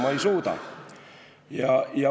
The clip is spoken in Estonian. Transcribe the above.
Ma ei suuda.